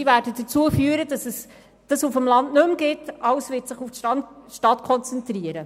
Senkungen werden dazu führen, dass es die Angebote auf dem Land nicht mehr gibt, und alles wird sich auf die Stadt konzentrieren.